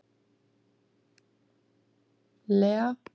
Lea